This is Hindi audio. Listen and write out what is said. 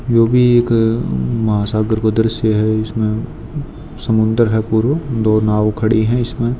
यो भी एक महासागर को दृश्य है इसमे समुंदर है पुरो दो नाव खड़ी हैं इसमे।